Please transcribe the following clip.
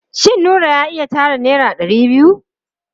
Shin Nura ya iya tara naira ɗari biyu?